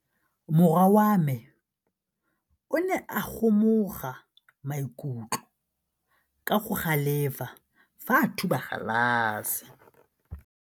Morwa wa me o ne a kgomoga maikutlo ka go galefa fa a thuba galase.